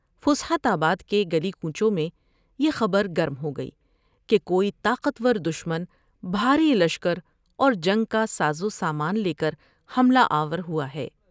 فسحت آباد کے گلی کوچوں میں یہ خبر گرم ہوگئی کہ کوئی طاقتور دشمن بھاری شکر اور جنگ کا ساز و سامان لے کر حملہ آور ہوا ہے ۔